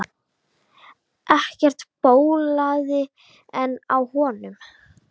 Ekkert bólaði enn á honum.